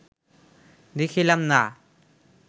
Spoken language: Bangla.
দেখিলাম না